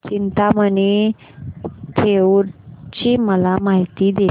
चिंतामणी थेऊर ची मला माहिती दे